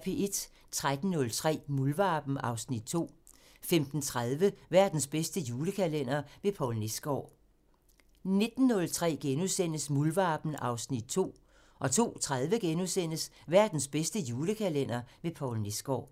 13:03: Muldvarpen (Afs. 2) 15:30: Verdens bedste julekalender med Poul Nesgaard 19:03: Muldvarpen (Afs. 2)* 02:30: Verdens bedste julekalender med Poul Nesgaard *